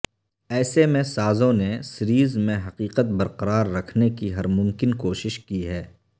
ایسے میں سازوں نے سیریز میں حقیقت برقرار رکھنے کی ہر ممکن کوشش کی ہے